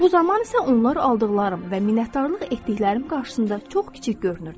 Bu zaman isə onlar aldıqlarım və minnətdarlıq etdiklərim qarşısında çox kiçik görünürdü.